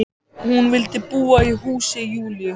Hún vildi búa í húsi Júlíu.